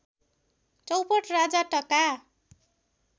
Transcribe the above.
चौपट राजा टका